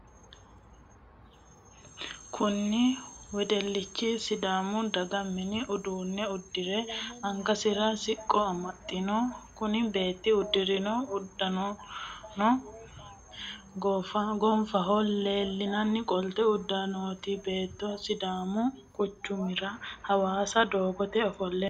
Kunni wedelichi sidaamu daga manni udano udire angasira siqo amaxe no. Kunni beeti udirino udano gonfahonna aleenni qolote udanooti. Beetuno sidaamu quchumira hawaassa doogote ofole no.